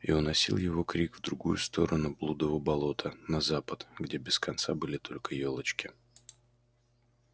и уносил его крик в другую сторону блудова болота на запад где без конца были только ёлочки